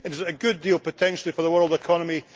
Is it a good deal, potentially, for the world economy?